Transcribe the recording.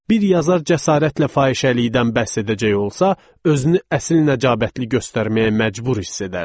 Bir yazar cəsarətlə fahişəlikdən bəhs edəcək olsa, özünü əsil nəcabətli göstərməyə məcbur hiss edərdi.